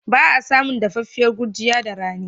Ba a samun dafaffiyar gurjiya da rani.